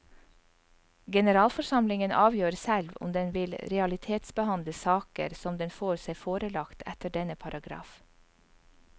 Generalforsamlingen avgjør selv om den vil realitetsbehandle saker som den får seg forelagt etter denne paragraf.